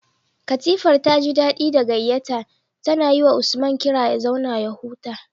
Katifar taji daɗi da gayyata, tana yiwa Usman kira ya zauna ya huta.